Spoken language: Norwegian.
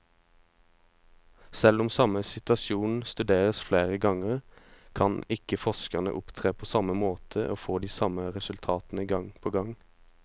Selv om samme situasjon studeres flere ganger, kan ikke forskeren opptre på samme måte og få de samme resultatene gang på gang.